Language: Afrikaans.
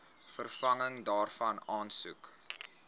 vervanging daarvan aansoek